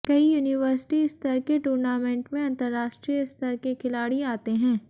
कई यूनिवर्सिटी स्तर के टूर्नामेंट में अंतर्राष्ट्रीय स्तर के खिलाड़ी आते हैं